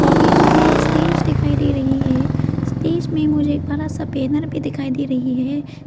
आगे मुझे एक स्टेज दिखाइ दे रही है स्टेज में मुझे एक बड़ा सा बैनर भी दिखाइ दे रही है।